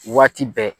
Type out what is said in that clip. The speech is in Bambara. Waati bɛɛ